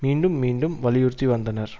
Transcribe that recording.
மீண்டும் மீண்டும் வலியுறுத்தி வந்தனர்